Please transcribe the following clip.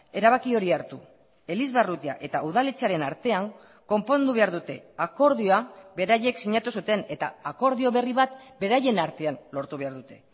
erabaki hori hartu elizbarrutia eta udaletxearen artean konpondu behar dute akordioa beraiek sinatu zuten eta akordio berri bat beraien artean lortu behar dute